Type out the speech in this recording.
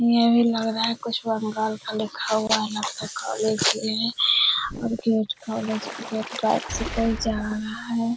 यह भी लग रहा है कुछ बंगाल का लिखा हुआ यहाँ पे खाली पेड़ है और गेट खोले छे गेट बाइक से कोई जा रहा है।